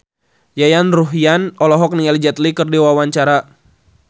Yayan Ruhlan olohok ningali Jet Li keur diwawancara